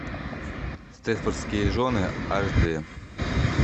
степфордские жены аш дэ